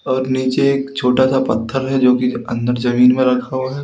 और नीचे एक छोटा सा पत्थर है जो की अंदर जमीन में रखा हुआ है।